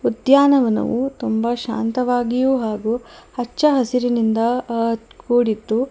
ಉದ್ಯಾನವನವು ತುಂಬ ಶಾಂತವಾಗಿಯೂ ಹಾಗು ಹಚ್ಚ ಹಸಿರಿನಿಂದ ಅ ಕೂಡಿದ್ದು--